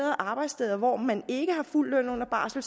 arbejdssteder hvor man ikke har fuld løn under barsel